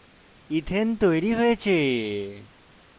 ethane ethane তৈরী হয়েছে